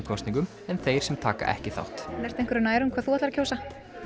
kosningum en þeir sem taka ekki þátt ertu einhverju nær um hvað þú ætlar að kjósa